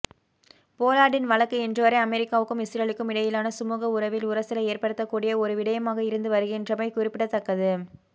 போலார்டின் வழக்கு இன்றுவரை அமெரிக்காவுக்கும் இஸ்ரேலுக்கும் இடையிலான சுமுக உறவில் உரசலை ஏற்படுத்தக்கூடிய ஒரு விடயமாக இருந்துவருகின்றமை குறிப்பிடத்தக்கது